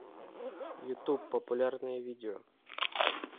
ютуб популярные видео